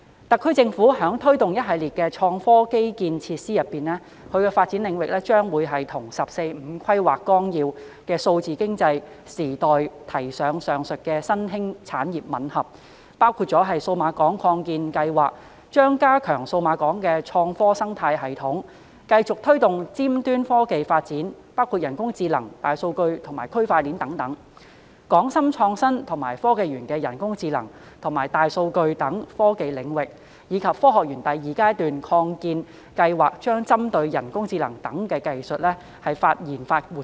特區政府正推動一系列創科基建設施，而發展領域將與《十四五規劃綱要》就數字經濟時代提出上述的新興產業吻合，包括數碼港擴建計劃將加強數碼港的創科生態系統，並繼續推動尖端科技發展，包括人工智能、大數據和區塊鏈等；港深創新及科技園將繼續推動人工智能及大數據等科技領域，以及香港科學園第二階段擴建計劃將針對人工智能等技術所需的相關研發活動。